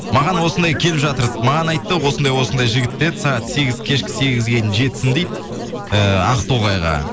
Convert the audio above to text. маған осындай келіп жатыр маған айтты осындай осындай жігіт деді сағат кешкі сегізге дейін жетсін дейді ыыы ақтоғайға